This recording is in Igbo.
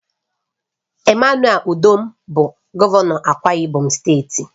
EMMANUEL UDOM bụ gọvanọ Akwa Ibom steeti